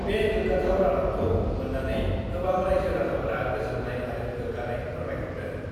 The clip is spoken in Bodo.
बे गोग्गाथाव रादाबखौ मोन्नानै गोबां राइजो-राजाफोरा गोजोन्नाय आरो गोग्गानाय फोरमायहरदों।